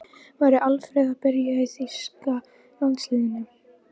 Væri Alfreð að byrja í þýska landsliðinu?